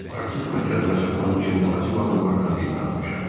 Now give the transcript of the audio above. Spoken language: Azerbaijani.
Artıq məqsədimə çatmaq üçün vacib adamlardan birini atmışam.